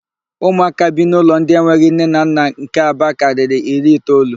Ụmụaka bi n'ụlọ ndị enweghị nne na nna nke Aba karịrị iri itoolu.